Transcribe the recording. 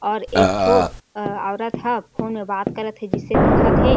और एक ठो अ औरत ह फ़ोन मे बात करत हे जिसे दिखत हे।